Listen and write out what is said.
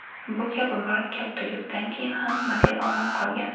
Bu kabi murakkab tryukdan keyin ham model omon qolgan.